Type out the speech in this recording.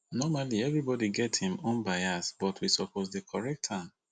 normally everybody get ein own bias but we suppose dey correct am